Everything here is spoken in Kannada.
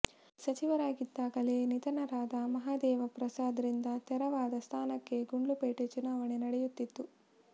ಸಚಿವರಾಗಿದ್ದಾಗಲೇ ನಿಧನರಾದ ಮಹದೇವ ಪ್ರಸಾದ್ ರಿಂದ ತೆರವಾದ ಸ್ಥಾನಕ್ಕೆ ಗುಂಡ್ಲುಪೇಟೆ ಚುನಾವಣೆ ನಡೆಯುತ್ತಿತ್ತು